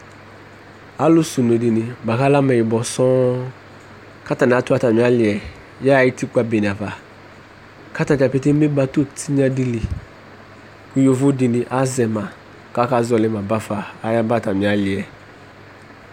Alʋsɛ une dɩnɩ, bʋa kʋ alɛ ameyibɔ sɔ̃ kʋ atanɩ atʋ atamɩ alɩ yɛ yaɣa utikpa bene ava kʋ ata dza petee eme bato tɩyna dɩ li, kʋ yovo dɩnɩ azɛ ma kʋ akazɔɣɔlɩ la bafa, ayaba atamɩ alɩ yɛ